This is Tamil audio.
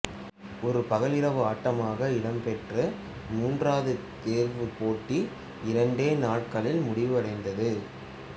ஒரு பகல்இரவு ஆட்டமாக இடம்பெற்ற மூன்றாவது தேர்வுப் போட்டி இரண்டே நாட்களில் முடிவடைந்தது